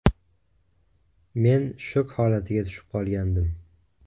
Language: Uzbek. Men shok holatiga tushib qolgandim.